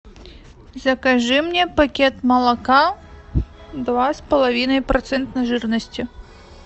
закажи мне пакет молока два с половиной процента жирности